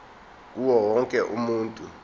kuwo wonke umuntu